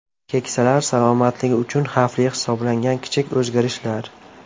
Keksalar salomatligi uchun xavfli hisoblangan kichik o‘zgarishlar.